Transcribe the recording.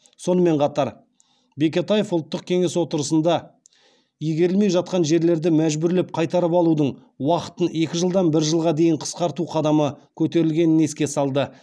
сонымен қатар бекетаев ұлттық кеңес отырысында игерілмей жатқан жерлерді мәжбүрлеп қайтарып алудың уақытын екі жылдан бір жылға дейін қысқарту қадамы көтерілгенін еске салды